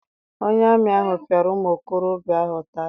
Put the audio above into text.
Onye amị ahụ piara ụmụ okorobịa ahụ ụtarị.